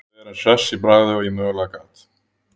Reyndi að vera eins hress í bragði og ég mögulega gat.